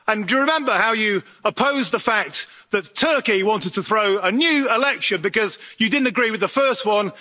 And do you remember how you opposed the fact that Turkey wanted to throw a new election because you didn't agree with the first one.